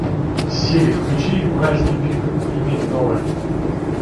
сири включи уральские пельмени новое